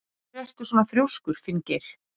Af hverju ertu svona þrjóskur, Finngeir?